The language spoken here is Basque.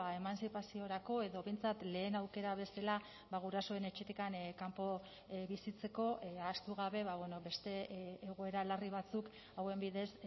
emantzipaziorako edo behintzat lehen aukera bezala gurasoen etxetik kanpo bizitzeko ahaztu gabe beste egoera larri batzuk hauen bidez